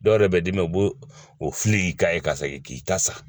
Dɔw yɛrɛ bɛ d'i ma u b'o o fili i k'a ye ka segin k'i ka sa